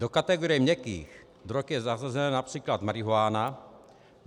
Do kategorie měkkých drog je zařazena například marihuana.